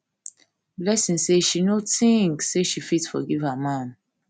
blessing say she no think um say she fit forgive her man